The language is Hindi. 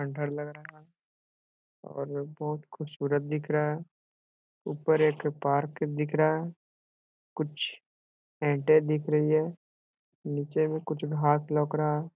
खंडहर लग रहा है और बहुत खूबसूरत दिख रहा है ऊपर एक पार्क दिख रहा है कुछ एंटे दिख रही है नीचे में कुछ घास लग रहा है।